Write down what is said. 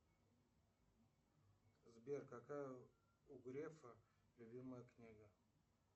сбер какая у грефа любимая книга